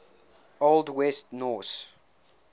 old west norse